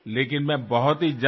पण मी लवकरच येईन